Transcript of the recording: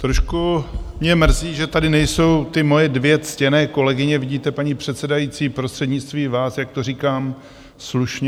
Trošku mě mrzí, že tady nejsou ty moje dvě ctěné kolegyně - vidíte, paní předsedající, prostřednictvím vás, jak to říkám slušně.